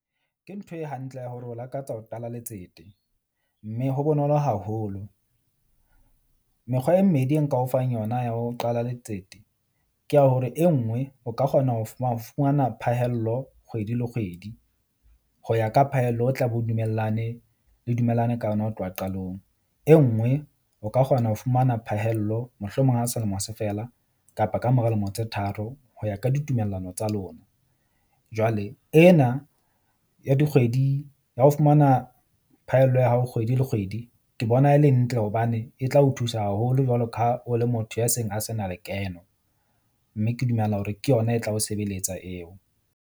Ke ntho e hantle ya hore o lakatsa ho qala letsete. Mme ho bonolo haholo. Mekgwa e mmedi e nka o fang yona ya ho qala letsete ke ya hore e nngwe o ka kgona ho ho fumana phahello kgwedi le kgwedi. Ho ya ka phahello, o tla be o dumellane le dumellane ka yona ho tloha qalong. E nngwe o ka kgona ho fumana phahello mohlomong ha selemo se fela, kapa kamora lemo tse tharo hoya ka ditumellano tsa lona. Jwale ena ya dikgwedi ya ho fumana phaello ya hao kgwedi le kgwedi. Ke bona e le ntle hobane e tla o thusa haholo jwalo ka ha o le motho ya seng a se na lekeno. Mme ke dumela hore ke yona e tla o sebeletsa eo.